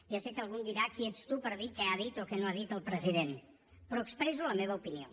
ja sé que algú em dirà qui ets tu per dir què ha dit o què no ha dit el president però expresso la meva opinió